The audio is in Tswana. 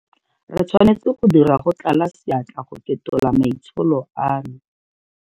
Re tshwanetse go dira go tlala seatla go fetola maitsholo ano.